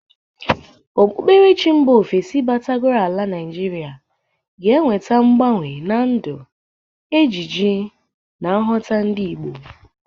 Okpukperechi mba ofesi batagoro ala Naijiria ga na-eweta mgbanwe na ndu, ejiji na nghọta ndị Igbo.